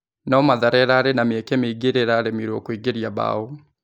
No Mathare ĩ rarĩ na mĩ eke mĩ ingĩ ĩ rĩ a ĩ raremirwo kũingĩ ria mbao.